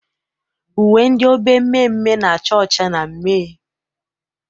Uwe ndị obe mmeemmee na-acha ọcha na mmee.